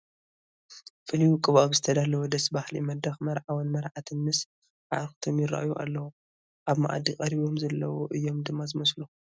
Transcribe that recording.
ብፍሉይ ወቂቡ ኣብ ዝተደለወ ደስ በሃሊ መድረኽ መርዓውን መርዓትን ምስ ኣዕርኽቶም ይርአዩ ኣለዉ፡፡ ኣብ መኣዲ ቀሪቦም ዘለዉ እዮም ድማ ዝመስሉ፡፡